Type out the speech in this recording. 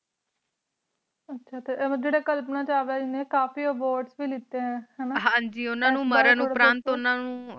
ਆਚਾ ਟੀ ਓ ਜੇਰੀ ਕਲਪਨਾ ਚਾਵਲਾ ਏਨੀ ਕਾਫੀ ਬੋਆਰਡ ਪੀ ਲਿਖਤੀ ਹੈਂ ਹਨਾ ਹਨ ਜੀ ਓਨਾ ਨੂ ਮਾਰੀ ਨੂ ਪਰਾਂਠ ਓਨਾ ਨੂ